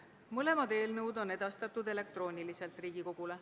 Mõlemad eelnõud on edastatud elektrooniliselt Riigikogule.